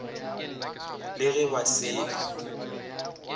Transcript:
le ge ba se na